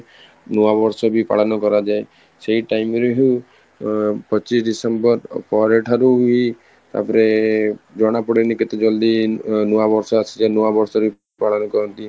ନୂଆ ବର୍ଷ ବି ପାଳନ କରାଯାଏ ସେଇ time ରେ ହଉ ଆଂ ପଚିଶ December ପର ଠାରୁ ବି ତାପରେ ଜଣାପଡେନି କେତେ ଜଲଦି ଉଁ ନୂଆ ବର୍ଷ ଆସିଯାଏ ନୂଆବର୍ଷ ରେ ବି ପାଳନ କରନ୍ତି